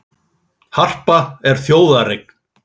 Harpa er þjóðareign